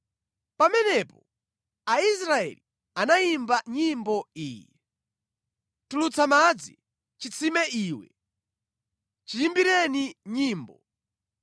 Pamenepo Aisraeli anayimba nyimbo iyi: “Tulutsa madzi, chitsime iwe! Chiyimbireni nyimbo,